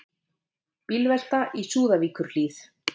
Bílvelta í Súðavíkurhlíð